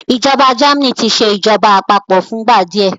ìjọba Germany tí ṣe ìjọba àpapọ̀ fún ìgbà díẹ